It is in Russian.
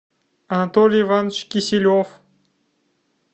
анатолий иванович киселев